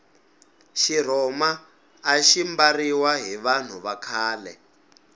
xirhoma axi mbariwa hi vanhu va khale